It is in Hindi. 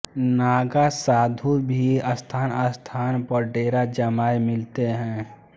नागा साधु भी स्थानस्थान पर डेरा जमाये मिलते हैं